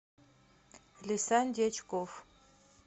лисан дьячков